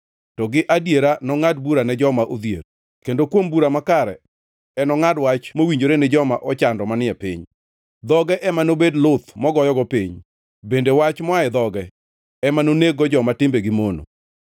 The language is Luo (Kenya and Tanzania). to gi adiera nongʼad bura ne joma odhier, kendo kuom bura makare enongʼad wach, mowinjore ni joma ochando manie piny. Dhoge ema nobed luth mogoyogo piny, bende wach moa e dhoge ema noneg-go joma timbegi mono.